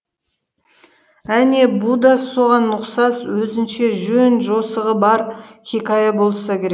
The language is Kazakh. әне бұ да соған ұқсас өзінше жөн жосығы бар хикая болса керек